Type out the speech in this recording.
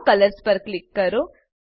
નો colours પર click કરો